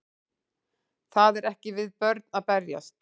Það er ekki við börn að berjast